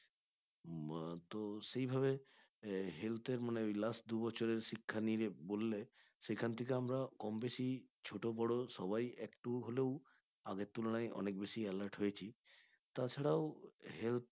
মা তো সেভাবে মানে health এর মানে ওই last দুই বছরের শিক্ষা নিয়ে নিয়ে বললে সেইখান থেকে আমরা কম-বেশি ছোট বড় সবাই একটু হলেও আগের তুলনায় অনেক বেশি alert হয়েছি তাছাড়াও health